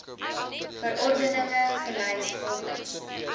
verordeninge gelys volgens